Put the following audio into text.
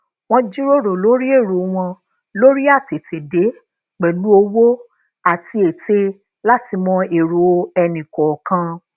wón jíròrò lori èrò won lori atetede pelu òwò àti ete láti mọ ero ẹnì kòòkan